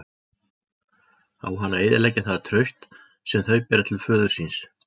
Á hann að eyðileggja það traust sem þau bera til föður síns?